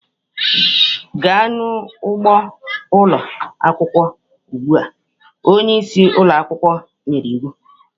Gaa n'ugbo ụlọ akwụkwọ ugbu a! Onye isi ụlọ akwụkwọ nyere iwu.